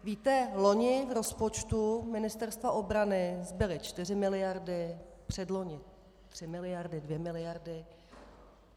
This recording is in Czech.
Víte, loni v rozpočtu Ministerstva obrany zbyly čtyři miliardy, předloni tři miliardy, dvě miliardy.